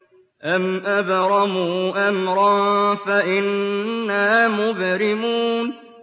أَمْ أَبْرَمُوا أَمْرًا فَإِنَّا مُبْرِمُونَ